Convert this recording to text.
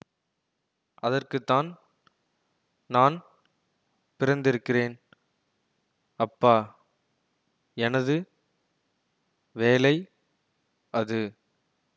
அதற்குத்தான் நான் பிறந்திருக்கிறேன் அப்பா எனது வேலை அது